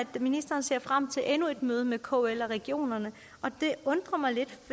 ministeren ser frem til endnu et møde med kl og regionerne og det undrer mig lidt